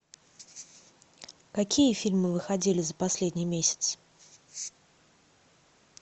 какие фильмы выходили за последний месяц